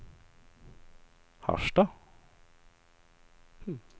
Harstad